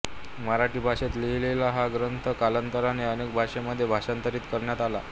मराठी भाषेत लिहिलेला हा ग्रंथ कालांतराने अनेक भाषांमध्ये भाषांतरित करण्यात आला